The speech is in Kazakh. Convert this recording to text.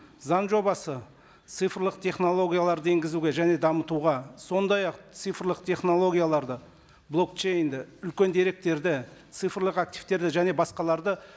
заң жобасы цифрлық технологияларды енгізуге және дамытуға сондай ақ цифрлық технологияларды блокчейнді үлкен деректерді цифрлық активтерді және басқаларды